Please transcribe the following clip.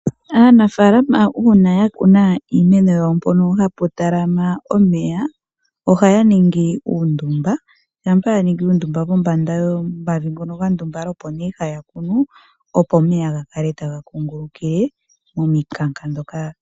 Aanafaalama uuna ya kuna iimeno yawo mpono hapu talama omeya ohaya ningi uundumba shampa ya ningi uundumba pombanda yomavi ngono ga ndumbala opo nee haya kunu opo omeya ga kale taga kungulukile momikanka ndhoka.